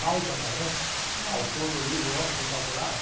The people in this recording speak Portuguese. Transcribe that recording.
Malba Tahan. Não. Autor do livro O Homem que Calculava.